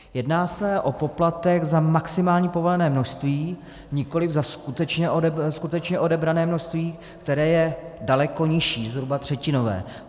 Jedná se o poplatek za maximální povolené množství, nikoli za skutečně odebrané množství, které je daleko nižší, zhruba třetinové.